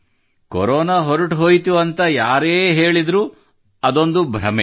corona ಹೊರಟುಹೋಯ್ತು ಎಂದು ಯಾರೇ ಹೇಳಿದರೂ ಇದೊಂದು ಭ್ರಮೆ